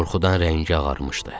Qorxudan rəngi ağarmışdı.